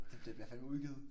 Det bliver bliver fandeme udgivet